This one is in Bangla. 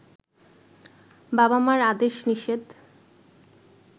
বাবা মার আদেশ নিষেধ